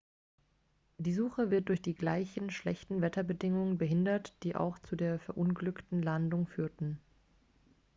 die suche wird durch die gleichen schlechten wetterbedingungen behindert die auch zur der verunglückten landung führten